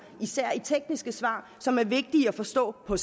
især i tekniske svar som er vigtige at forstå på